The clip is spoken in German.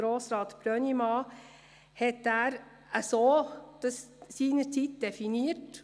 Grossrat Brönnimann, Sie haben das Wort.